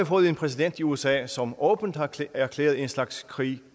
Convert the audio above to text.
fået en præsident i usa som åbent har erklæret en slags krig